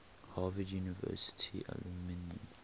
harvard university alumni